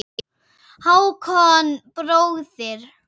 Hákon bróðir.